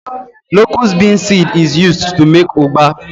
Locus bean seed is used to make ugba